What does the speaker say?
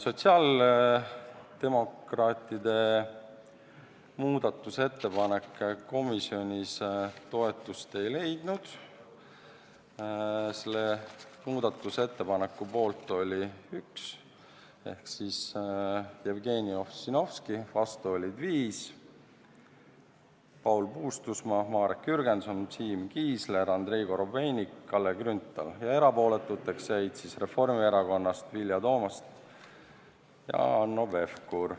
Sotsiaaldemokraatide muudatusettepanek komisjonis toetust ei leidnud, selle muudatusettepaneku poolt oli üks liige ehk Jevgeni Ossinovski, vastu olid viis , erapooletuks jäid Reformierakonnast Vilja Toomast ja Hanno Pevkur.